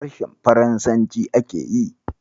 Harshen faransaci ake yi.